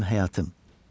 Mənim həyatım.